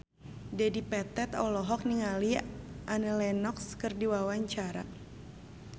Dedi Petet olohok ningali Annie Lenox keur diwawancara